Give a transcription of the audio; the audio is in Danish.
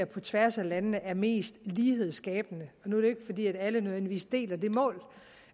på tværs af landene vurderer er mest lighedsskabende nu er ikke fordi alle nødvendigvis deler det mål